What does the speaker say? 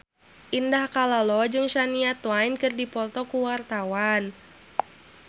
Indah Kalalo jeung Shania Twain keur dipoto ku wartawan